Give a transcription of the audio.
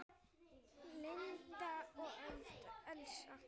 Eva Lind og Elsa.